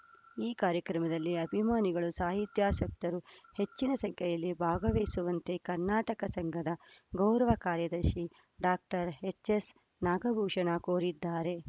ಈ ಕಾರ್ಯಕ್ರಮದಲ್ಲಿ ಅಭಿಮಾನಿಗಳು ಸಾಹಿತ್ಯಾಸಕ್ತರು ಹೆಚ್ಚಿನ ಸಂಖ್ಯೆಯಲ್ಲಿ ಭಾಗವಹಿಸುವಂತೆ ಕರ್ನಾಟಕ ಸಂಘದ ಗೌರವ ಕಾರ್ಯದರ್ಶಿ ಡಾಕ್ಟರ್ ಎಚ್‌ ಎಸ್‌ ನಾಗಭೂಷಣ ಕೋರಿದ್ದಾರೆ